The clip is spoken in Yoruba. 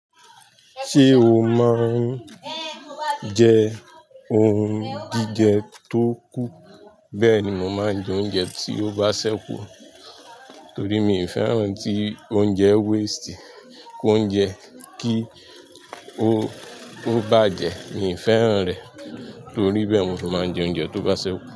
Ṣé o máa ń jẹ ohun jíjẹ tó kù? Bẹ́ẹ̀ ni mo máa ń jẹ oúnjẹ tí ó bá sẹ́kù, torí mi ò fẹ́ràn ohun tí oúnjẹ waste, kó ń jẹ, kí ó bá jẹ, mi fẹ́ràn rẹ̀. Torí bẹ́ẹ̀ ni mo máa ń jẹ oúnjẹ tí ó bá ṣẹ́kù.